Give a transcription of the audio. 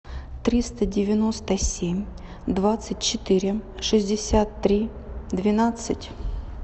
триста девяносто семь двадцать четыре шестьдесят три двенадцать